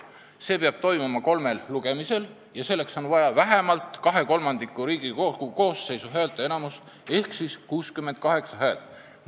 Selleks on vaja kolme lugemist ja selleks on vaja Riigikogu koosseisu kahekolmandikulist häälteenamust ehk vähemalt 68 häält.